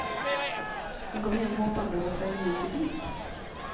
Hon kom hem hoppande och med stjärnljus i blick.